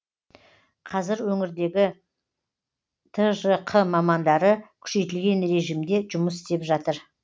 қазір өңірдегі тжқ мамандары күшейтілген режімде жұмыс істеп жатыр